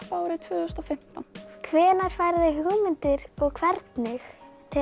árið tvö þúsund og fimmtán hvenær færðu hugmyndir og hvernig